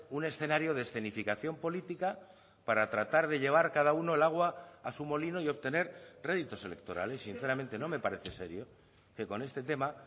un escenario de escenificación política para tratar de llevar cada uno el agua a su molino y obtener réditos electorales sinceramente no me parece serio que con este tema